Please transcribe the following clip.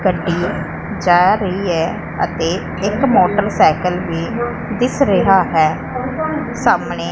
ਗੱਡੀ ਜਾ ਰਹੀ ਹੈ ਅਤੇ ਇੱਕ ਮੋਟਰਸਾਈਕਲ ਵੀ ਦਿੱਸ ਰਿਹਾ ਹੈ ਸਾਹਮਣੇ।